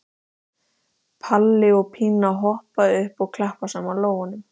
Palli og Pína hoppa upp og klappa saman lófunum.